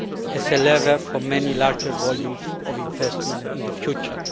as a lever for many larger volumes of investment in the future.